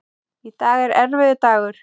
Í dag er erfiður dagur.